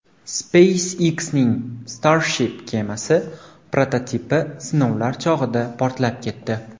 SpaceX’ning Starship kemasi prototipi sinovlar chog‘ida portlab ketdi .